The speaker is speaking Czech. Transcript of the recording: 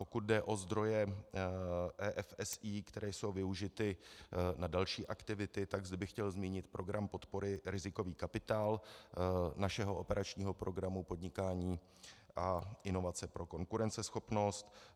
Pokud jde o zdroje EFSI, které jsou využity na další aktivity, zde bych chtěl zmínit program podpory rizikový kapitál našeho operačního programu Podnikání a inovace pro konkurenceschopnost.